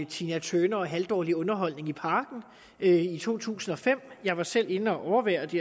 tina turner og halvdårlig underholdning i parken i to tusind og fem jeg var selv inde at overvære det